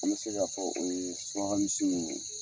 An bɛ se'a fɔ o ye suraka misiw nunnu ye.